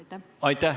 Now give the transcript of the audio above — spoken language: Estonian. Aitäh!